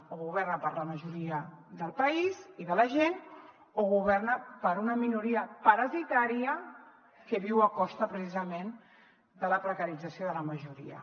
o governa per a la majoria del país i de la gent o governa per a una minoria parasitària que viu a costa precisament de la precarització de la majoria